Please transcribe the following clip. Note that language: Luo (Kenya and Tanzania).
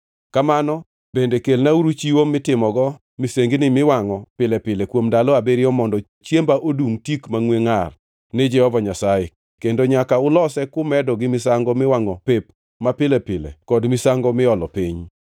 Kamano bende kelnauru chiwo mitimogo misengini miwangʼo pile pile kuom ndalo abiriyo mondo chiemba odungʼ tik mangʼwe ngʼar ni Jehova Nyasaye; kendo nyaka ulose kumedo gi misango miwangʼo pep mapile pile kod misango miolo piny.